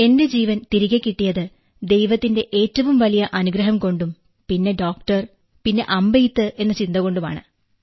എന്റെ ജീവൻ തിരികെ കിട്ടിയത് ദൈവത്തിന്റെ ഏറ്റവും വലിയ അനുഗ്രഹംകൊണ്ടും പിന്നെ ഡോക്ടർ പിന്നെ അമ്പെയ്ത്ത് എന്ന ചിന്ത കൊണ്ടുമാണ്